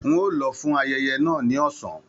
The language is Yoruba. N o lọ fún ayẹyẹ náà ní ọsán.